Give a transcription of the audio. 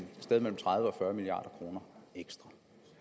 sted mellem tredive og fyrre milliard kroner ekstra